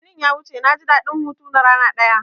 Litinin ya wuce naji daɗin hutu na rana ɗaya